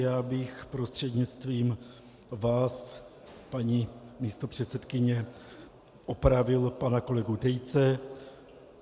Já bych prostřednictvím vás, paní místopředsedkyně, opravil pana kolegu Tejce.